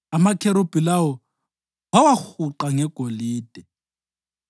Amakherubhi lawo wawahuqa ngegolide.